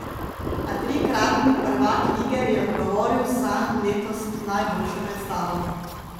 A trikratni prvak lige je odgovoril z zanj letos najboljšo predstavo.